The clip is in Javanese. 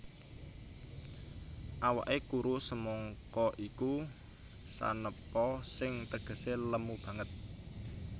Awaké kuru semangka iku sanepa sing tegesé lemu banget